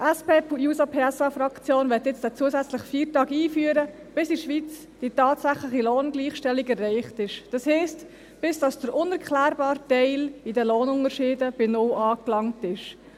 Die SP-JUSOPSA-Fraktion möchte jetzt diesen zusätzlichen Feiertag einführen, bis in der Schweiz die tatsächliche Lohngleichstellung erreicht ist, das heisst, bis der unerklärbare Teil in den Lohnunterschieden bei null angelangt ist.